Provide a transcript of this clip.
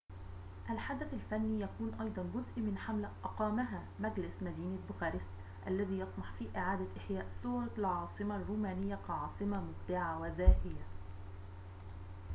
الحدث الفني يكون أيضاً جزء من حملة أقامها مجلس مدينة بوخارست الذي يطمح في إعادة إحياء صورة العاصمة الرومانية كعاصمة مبدعة وزاهية